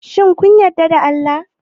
Shin kun yarda da Allah?